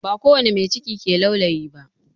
Ba kowani mai ciki ke laulayi ba